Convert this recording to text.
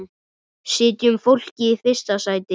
Setjum fólkið í fyrsta sæti.